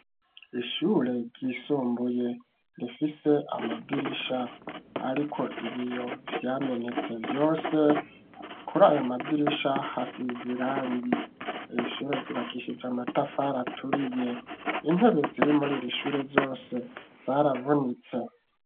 Ishure ryisumbuye rifise amadirisha ariko ibiyo vyamenetse vyose, kur'ayo madirisha hasize irangi, ir'ishure ryubakishije amatafari aturiye intebe ziri mur'irishure yose zaravunitse.